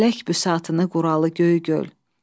Fələk büsatını qıralı göy gül.